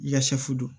I ka sɛfu don